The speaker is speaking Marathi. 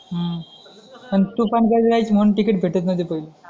हम्म पण तुफान गर्दी राहायची म्हणून तिकीट भेटत नव्हते पहिले